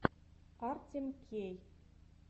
артем кей